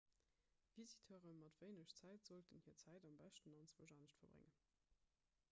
visiteure mat wéineg zäit sollten hir zäit am beschten anzwousch anescht verbréngen